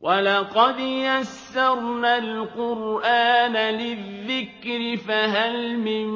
وَلَقَدْ يَسَّرْنَا الْقُرْآنَ لِلذِّكْرِ فَهَلْ مِن